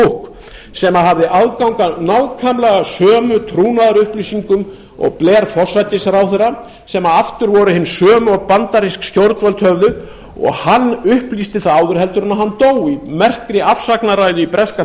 cook sem hafði aðgang að nákvæmlega sömu trúnaðarupplýsingum og blair forsætisráðherra sem aftur voru hin sömu og bandarísk stjórnvöld höfðu og hann upplýsti það áður en hann dó í merkri afsagnarræðu í breska